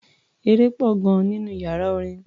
Eré pọ̀ gan-an nínú iyàrá orin.